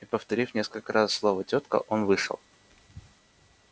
и повторив несколько раз слово тётка он вышел